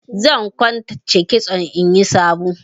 Zan kwance kitson inyi sabo.